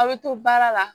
Aw bɛ to baara la